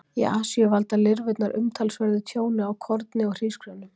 Í Asíu valda lirfurnar umtalsverðu tjóni á korni og hrísgrjónum.